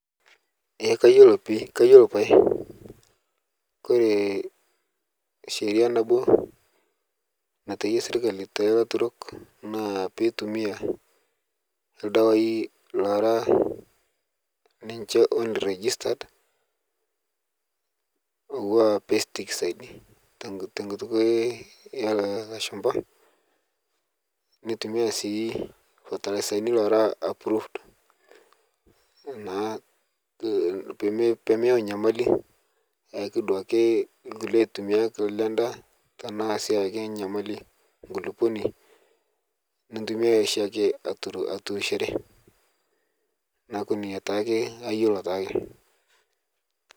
Eeh kaiyeloo pii kaiyeloo paiye, kore sheria naboo naiteyia sirkali te larturok naa pee itumia ldewai loara ninchee on registered ouwaa pesticides te nkuut elo laashumba, neitumia sii fertilasin loara aprroved naa pee meyau nyamalii ayaaki duake nkulee laitumiak le ndaa tana sii ayaaki nyamalii nkuluuponi niitumia shiake aturushoore naaku nia taake aiyeloo taake.